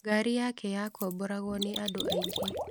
Ngari yake yakomboragwo nĩ andũ aingĩ.